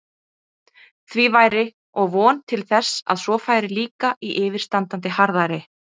Því væri og von til þess að svo færi líka í yfirstandandi harðæri.